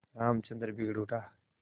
रामचंद्र बिगड़ उठा